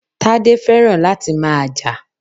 Tade feran lati maa ja.